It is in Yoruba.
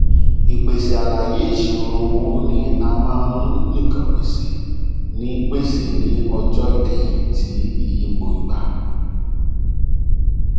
ìpèsè àlàyé ìṣirò owó ni a máa ń nìkàn pèsè ní pèsè ní ọjọ ìkẹyìn ti iyípo ígbà